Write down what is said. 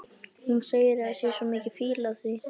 Hún segir að það sé svo mikil fýla af því.